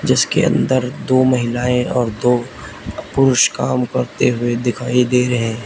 इसके अंदर दो महिलाएं और दो पुरुष काम करते हुए दिखाई दे रहे हैं।